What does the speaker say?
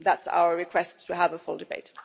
That's our request to have a full debate.